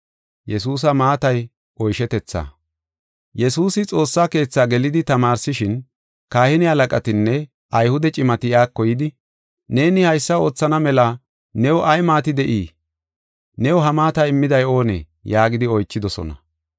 Yesuusi Xoossa Keetha gelidi tamaarsishin, kahine halaqatinne Ayhude cimati iyako yidi, “Neeni haysa oothana mela new ay maati de7ii? New ha maata immiday oonee?” yaagidi oychidosona.